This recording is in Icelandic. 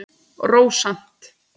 Rósant